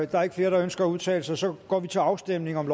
der er ikke flere der ønsker at udtale sig og så går vi til afstemning